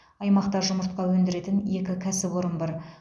аймақта жұмыртқа өндіретін екі кәсіпорын бар